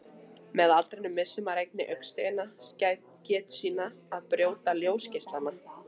Með aldrinum missir einnig augasteinninn getu sína að brjóta ljósgeislana.